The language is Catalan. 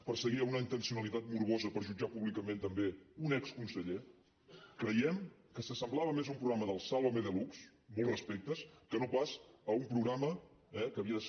perseguia una intencionalitat morbosa per jutjar públicament també un exconseller creiem que s’assemblava més a un programa del sálvame deluxe amb molts respectes que no pas a un programa que havia de ser